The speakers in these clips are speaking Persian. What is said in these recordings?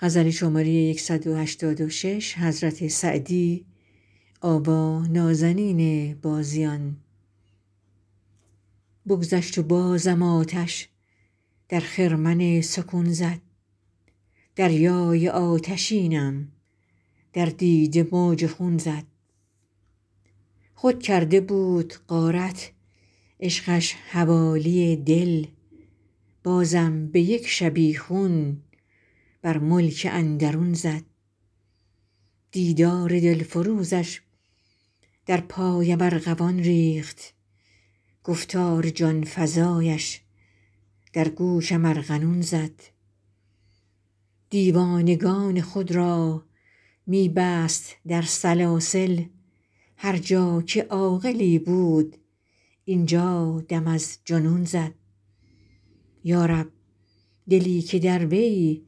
بگذشت و بازم آتش در خرمن سکون زد دریای آتشینم در دیده موج خون زد خود کرده بود غارت عشقش حوالی دل بازم به یک شبیخون بر ملک اندرون زد دیدار دلفروزش در پایم ارغوان ریخت گفتار جان فزایش در گوشم ارغنون زد دیوانگان خود را می بست در سلاسل هر جا که عاقلی بود اینجا دم از جنون زد یا رب دلی که در وی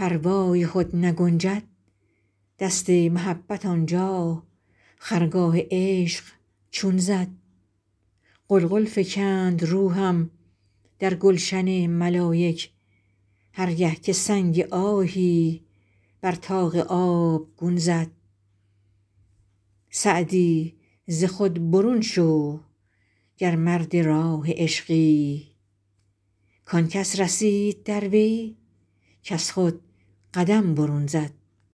پروای خود نگنجد دست محبت آنجا خرگاه عشق چون زد غلغل فکند روحم در گلشن ملایک هر گه که سنگ آهی بر طاق آبگون زد سعدی ز خود برون شو گر مرد راه عشقی کان کس رسید در وی کز خود قدم برون زد